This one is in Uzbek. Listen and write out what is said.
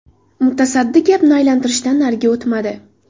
Mutasaddi gapni aylantirishdan nariga o‘tmadi.